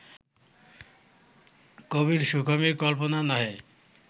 কবির সুখময়ী কল্পনা নহে